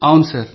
అవును సార్